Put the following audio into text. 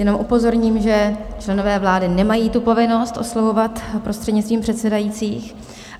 Jenom upozorním, že členové vlády nemají tu povinnost oslovovat prostřednictvím předsedajících.